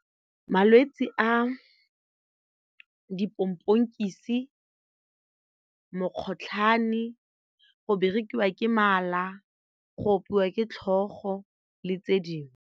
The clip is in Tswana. Malwetsi a dipomponkise, mokgotlhwane, go berekiwa ke mala, go opiwa ke tlhogo le tse dingwe.